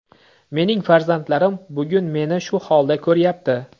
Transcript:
Mening farzandlarim bugun meni shu holda ko‘ryapti.